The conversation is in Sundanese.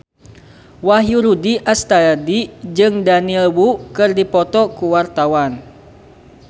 Wahyu Rudi Astadi jeung Daniel Wu keur dipoto ku wartawan